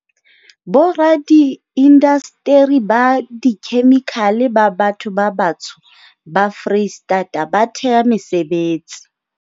Boradiindasteri ba dikhemikhale ba batho ba batsho ba Freistata ba thea mesebetsi.